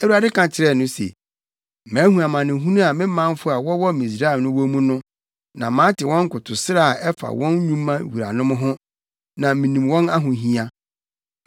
Awurade ka kyerɛɛ no se, “Mahu amanehunu a me manfo a wɔwɔ Misraim no wɔ mu no, na mate wɔn nkotosrɛ a ɛfa wɔn nnwuma wuranom ho, na minim wɔn ahohia.